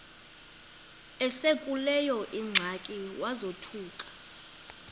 esekuleyo ingxaki wazothuka